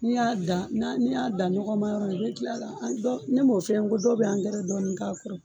N'i y'a dan na n'i y'a dan ɲɔgɔma yɔrɔ la i bɛ kila ka ne m'o fɔ e ye n ko dɔw bɛ angɛrɛ dɔɔnin k'a kɔrɔ wa.